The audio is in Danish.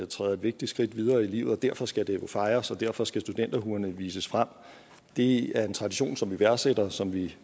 træder et vigtigt skridt videre i livet derfor skal det fejres og derfor skal studenterhuerne vises frem det er en tradition som vi værdsætter og som vi